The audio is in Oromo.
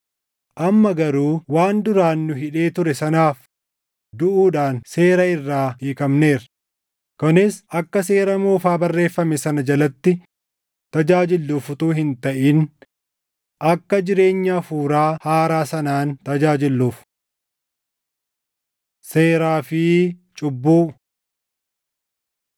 Amma garuu waan duraan nu hidhee ture sanaaf duʼuudhaan seera irraa hiikamneerra; kunis akka seera moofaa barreeffame sana jalatti tajaajilluuf utuu hin taʼin akka jireenya Hafuuraa haaraa sanaan tajaajilluuf. Seeraa fi Cubbuu